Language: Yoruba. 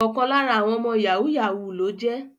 Ọkan lara awọn ọmọ yahoo yahoo loje